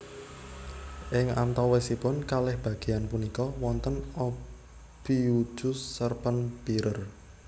Ing antawisipun kalih bagéyan punika wonten Ophiuchus serpent bearer